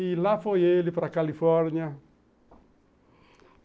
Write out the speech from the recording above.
E lá foi ele para Califórnia.